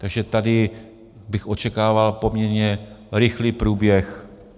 Takže tady bych očekával poměrně rychlý průběh.